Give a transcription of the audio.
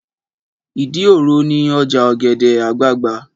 Ìdí òro ní ọjà ọ̀gẹ̀dẹ̀ àgbagbà